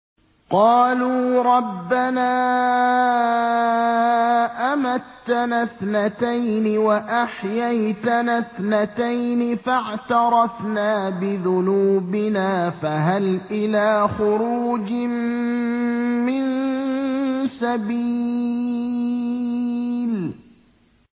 قَالُوا رَبَّنَا أَمَتَّنَا اثْنَتَيْنِ وَأَحْيَيْتَنَا اثْنَتَيْنِ فَاعْتَرَفْنَا بِذُنُوبِنَا فَهَلْ إِلَىٰ خُرُوجٍ مِّن سَبِيلٍ